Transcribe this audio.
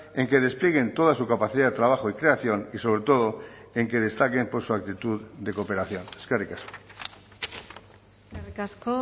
en que desplieguen toda su capacidad de trabajo y creación y sobre todo en que destaquen por su actitud de cooperación eskerrik asko eskerrik asko